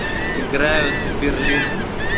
играю за берлин